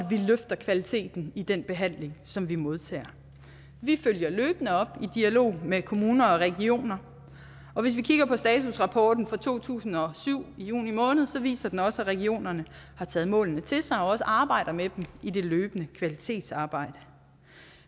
løfter kvaliteten i den behandling som vi modtager vi følger løbende op i dialog med kommuner og regioner og hvis vi kigger på statusrapporten for to tusind og syv i juni måned så viser den også at regionerne har taget målene til sig og også arbejder med dem i det løbende kvalitetsarbejde